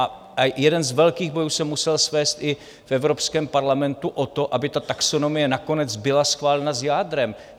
A jeden z velkých bojů jsem musel svést i v Evropském parlamentu o to, aby ta taxonomie nakonec byla schválena s jádrem.